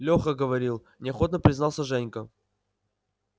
леха говорил неохотно признался женька